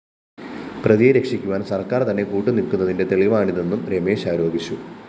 പ്രതിയെ രക്ഷിക്കുവാന്‍ സര്‍ക്കാര്‍തന്നെ കൂട്ടുനില്‍ക്കുന്നതിന്റെ തെളിവാണിതെന്നും രമേശ് ആരോപിച്ചു